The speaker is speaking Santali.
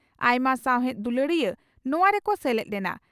ᱟᱭᱢᱟ ᱥᱟᱣᱦᱮᱫ ᱫᱩᱞᱟᱹᱲᱤᱭᱟᱹ ᱱᱚᱣᱟ ᱨᱮᱠᱚ ᱥᱮᱞᱮᱫ ᱞᱮᱱᱟ ᱾